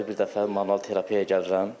Ayda bir dəfə manual terapiyaya gəlirəm.